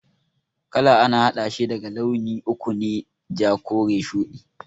Kala a na haɗashi daga launi uku ne, ja, kore, shudi